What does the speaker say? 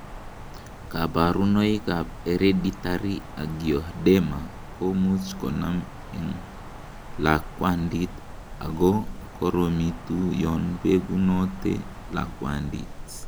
Koburonoikab hereditary angioedema komuch konam en lakwandit ako koromitu yon begunote lakwandit.